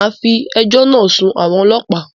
Màá fi ejọ́ náà sun àwọn ọlọ́pàá.